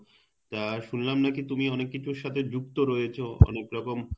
তা শুনলাম নাকি তুমি অনেক কিছুর সাথে যুক্ত রয়েছো অনেক রকম